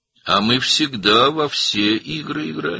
Biz həmişə bütün oyunları oynayırıq.